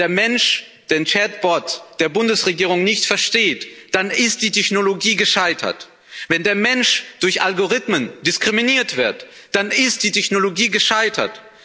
Wenn der Mensch den Chat-Bot der Bundesregierung nicht versteht, dann ist die Technologie gescheitert. Wenn der Mensch durch Algorithmen diskriminiert wird, dann ist die Technologie gescheitert.